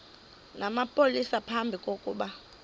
namapolisa phambi kokuba